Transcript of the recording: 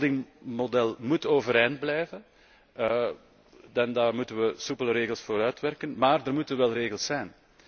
Het holding model moet overeind blijven en daar moeten wij soepele regels voor uitwerken. Maar er moeten wel regels zijn.